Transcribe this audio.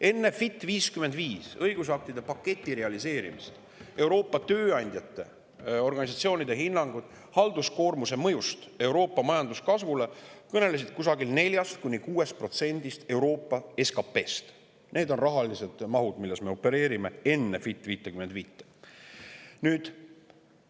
Enne "Fit for 55" õigusaktide paketi realiseerimist kõnelesid Euroopa tööandjate organisatsioonide hinnangud halduskoormuse mõju kohta Euroopa majanduskasvule 4–6%‑st Euroopa SKP‑st. Need on rahamahud, millega me opereerime enne "Fit for 55".